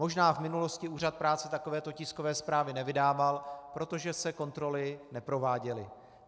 Možná v minulosti úřad práce takovéto tiskové zprávy nevydával, protože se kontroly neprováděly.